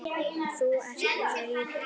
Þú ert rauður.